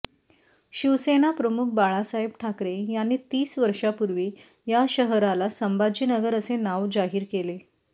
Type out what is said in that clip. शिवसेनाप्रमुख बाळासाहेब ठाकरे यांनी तीस वर्षांपूर्वी या शहराला संभाजीनगर असे नाव जाहीर केले